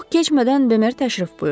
Çox keçmədən Bemer təşrif buyurdu.